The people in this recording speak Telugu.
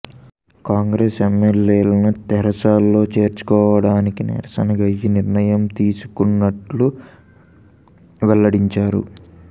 కాంగ్రెస్ ఎమ్మెల్యేలను తెరాసలో చేర్చుకోవడానికి నిరసనగా ఈ నిర్ణయం తీసుకున్నట్లు వెల్లడించారు